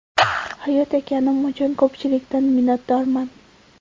Hayot ekanim uchun ko‘pchilikdan minnatdorman.